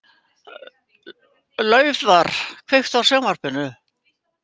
Laufar, kveiktu á sjónvarpinu.